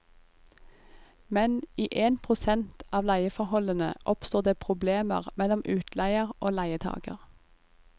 Men i én prosent av leieforholdene oppstår det problemer mellom utleier og leietager.